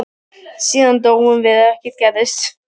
Síðan dóum við og ekkert gerðist.